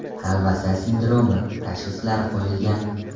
Talvasa sindromi” tashxislari qo‘yilgan.